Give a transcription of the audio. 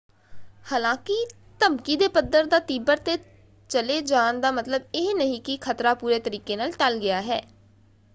ਹਾਲਾਂਕਿ ਧਮਕੀ ਦੇ ਪੱਧਰ ਦਾ ਤੀਬਰ ‘ਤੇ ਚਲੇ ਜਾਣ ਦਾ ਮਤਲਬ ਇਹ ਨਹੀਂ ਕਿ ਖਤਰਾ ਪੂਰੇ ਤਰੀਕੇ ਨਾਲ ਟਲ ਗਿਆ ਹੈ।